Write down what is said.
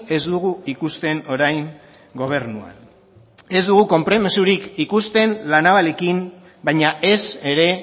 ez dugu ikusten orain gobernuan ez dugu konpromisorik ikusten la navalekin baina ez ere